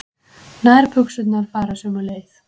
Nærbuxurnar fara sömu leið.